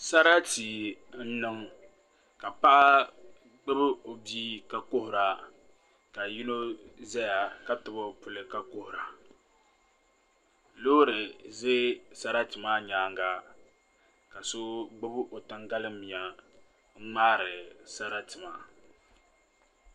Sarati n niŋ ka paɣa gbubi o bia ka kuhura ka yino ʒɛya ka tabi o puli ka kuhura loori ʒɛ sarati maa nyaanga ka so gbubi o tangali miya n ŋmaari sarati maa